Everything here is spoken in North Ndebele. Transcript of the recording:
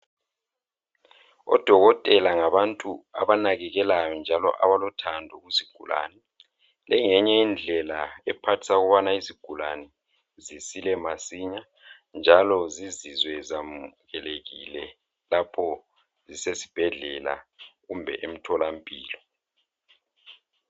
Odokotela ngabantu abanakekelayo njalo abalothando kuzigulane. Le ngeyinye indlela ephathisa ukubana izigulane zisile masinya njalo zizizwe zamukelekile lapho zisezibhedlela kumbe emtholampilo.